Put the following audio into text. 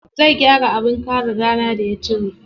Zai gyara abin kare rana da ya cire.